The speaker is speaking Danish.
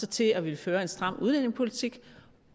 til at vil føre en stram udlændingepolitik